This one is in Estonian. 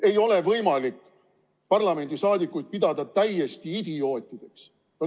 Ei ole võimalik parlamendiliikmeid pidada täiesti idiootideks.